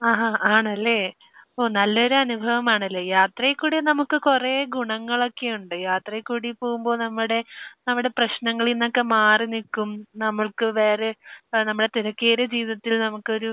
ആഹാ. ആണല്ലേ. ഓഹ്. നല്ലൊരു അനുഭവമാണല്ലേ. യാത്രയിലൂടെ നമുക്ക് കുറെ ഗുണങ്ങളൊക്കെയുണ്ട്. യാത്രയിൽക്കൂടെ പോകുമ്പോൾ നമ്മുടെ നമ്മുടെ പ്രശ്നങ്ങളിൽ നിന്നൊക്കെ മാറി നിൽക്കും, നമുക്ക് വേറെ ഏഹ് നമ്മുടെ തിരക്കേറിയ ജീവിതത്തിൽ നമുക്കൊരു